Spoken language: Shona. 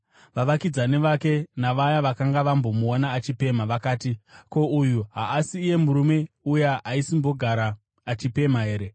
Vavakidzani vake navaya vakanga vambomuona achipemha vakati, “Ko, uyu haasi iye murume uya aisimbogara achipemha here?”